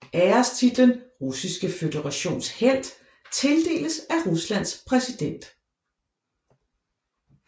Ærestitlen Russiske Føderations Helt tildeles af Ruslands præsident